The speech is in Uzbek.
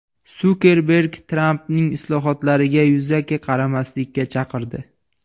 Sukerberg Trampning islohotlariga yuzaki qaramaslikka chaqirdi.